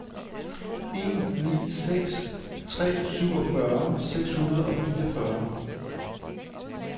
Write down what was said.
en ni seks tre syvogfyrre seks hundrede og fireogfyrre